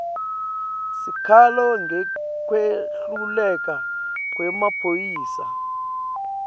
sikhalo ngekwehluleka kwemaphoyisa